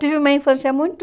Tive uma infância muito...